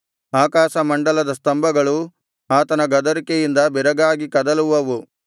ಆಕಾಶಮಂಡಲದ ಸ್ತಂಭಗಳು ಆತನ ಗದರಿಕೆಯಿಂದ ಬೆರಗಾಗಿ ಕದಲುವವು